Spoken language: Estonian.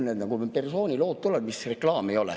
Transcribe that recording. Või kuhu need persoonilood tulevad?